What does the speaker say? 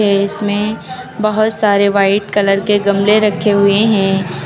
दृश्य में बहुत सारे व्हाइट कलर के गमले रखे हुए हैं।